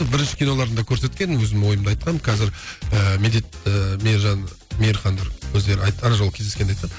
бірінші киноларын да көрсеткен өзім ойымды айтқанмын қазір ы медет ы мейіржан мейірхандар өздері ана жолы кездескенде айтқан